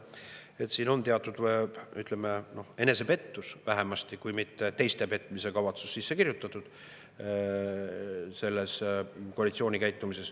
Siia, sellesse koalitsiooni käitumisse, on teatud, ütleme, vähemasti enesepettus, kui mitte teiste petmise kavatsus sisse kirjutatud.